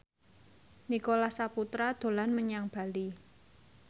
Nicholas Saputra dolan menyang Bali